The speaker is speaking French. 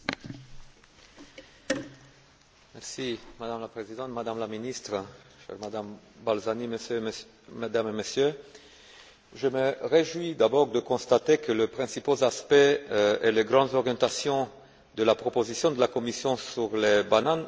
Madame la Présidente, Madame la Ministre, Madame Balzani, Mesdames et Messieurs, je me réjouis, d'abord, de constater que les principaux aspects et les grandes orientations de la proposition de la Commission sur les bananes ont obtenu l'appui du rapporteur.